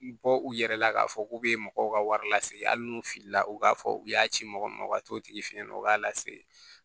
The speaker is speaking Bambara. Bɔ u yɛrɛ la k'a fɔ k'u bɛ mɔgɔw ka wari lasegin hali n'u filila u k'a fɔ u y'a ci mɔgɔ ma u ka t'o tigi fɛ yen nɔ u b'a lase